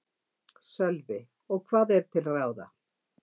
Sölvi: Og hvað er til ráða?